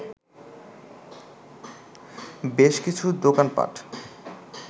বেশ কিছু দোকান পাট